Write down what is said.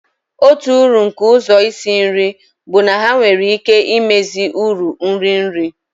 Otu uru nke ụzọ isi nri bụ na ha nwere ike imezi uru nri nri.